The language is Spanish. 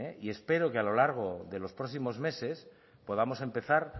y espero que a lo largo de los próximos meses podamos empezar